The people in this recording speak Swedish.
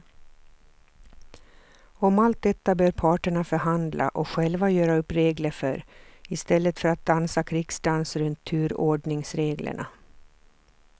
Om allt detta bör parterna förhandla och själva göra upp regler för i stället för att dansa krigsdans runt turordningsreglerna.